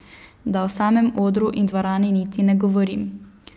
Da o samem odru in dvorani niti ne govorim.